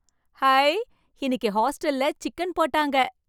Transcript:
High! இன்னிக்கு ஹாஸ்டல்ல chicken போட்டாங்க.